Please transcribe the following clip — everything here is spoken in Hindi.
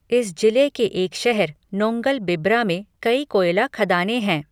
इस जिले के एक शहर नोंगलबिब्रा में कई कोयला खदानें हैं।